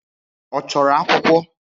Ọ chọrọ akwụkwọ?